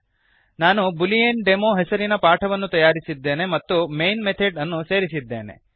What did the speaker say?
ನಾನು boolean demo boolean demo ಹೆಸರಿನ ಪಾಠವನ್ನು ತಯಾರಿಸಿದ್ದೇನೆ ಮತ್ತು ಮೈನ್ ಮೆಥಡ್ ಅನ್ನು ಸೇರಿಸಿದ್ದೇನೆ